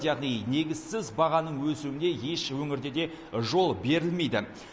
яғни негізсіз бағаның өсуіне еш өңірде де жол берілмейді